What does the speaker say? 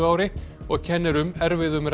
ári og kennir um erfiðum